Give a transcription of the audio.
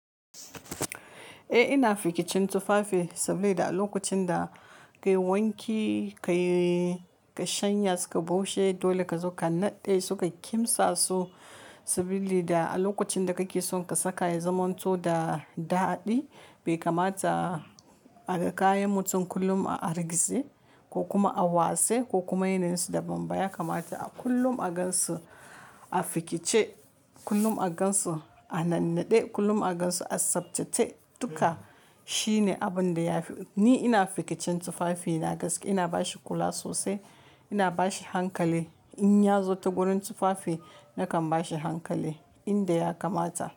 Eh ina fikicin tufafi saboda a lokacin da ka yi wanki ka shanya suka bushe dole ka zo ka naɗe suka kimsa su sabili da a lokacin da kake so ka saka ya zamanto da daɗi bai kamata a ga kayan mutum kullum a argize ko kuma a wase ko kuma yana yin su da bambaya kamata kullum a gan su a fikice kullum a gan su a nannaɗe kullum a gan su a sabtace duka shine abin da ya fi. Ni ina fikicin tufafi na gaske ina bashi kula sosai ina bashi hankali in ya zo ta gurin tufafi nakan bashi hankali inda ya kamata.